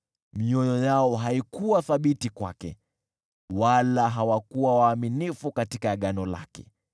mioyo yao haikuwa thabiti kwake, wala hawakuwa waaminifu katika agano lake.